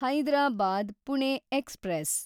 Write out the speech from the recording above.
Hyderabad Pune express